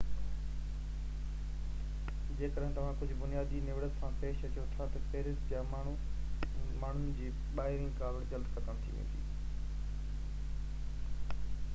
جيڪڏهن توهان ڪجهہ بنيادي نوڙت سان پيش اچو ٿا تہ پئرس جا ماڻهن جي ٻاهرين ڪاوڙ جلدي ختم ٿي ويندي